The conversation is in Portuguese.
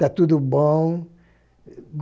Tá tudo bom.